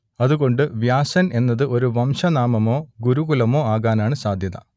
അതുകൊണ്ട് വ്യാസൻ എന്നത് ഒരു വംശനാമമോ ഗുരുകുലമോ ആകാനാണ് സാധ്യത